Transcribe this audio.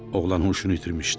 Oğlan huşunu itirmişdi.